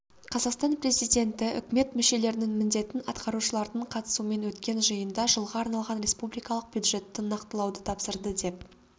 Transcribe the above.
қазақстан президенті үкімет мүшелерінің міндетін атқарушылардың қатысуымен өткен жиында жылға арналған республикалық бюджетті нақтылауды тапсырды деп